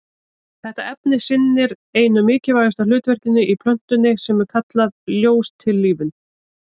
Þetta efni sinnir einu mikilvægasta hlutverkinu í plöntunni sem er kallað ljóstillífun.